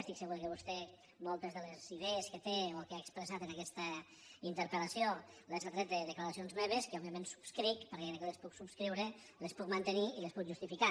estic segur que vostè moltes de les idees que té o que ha expressat en aquesta interpelque òbviament subscric perquè crec que les puc subscriure les puc mantenir i les puc justificar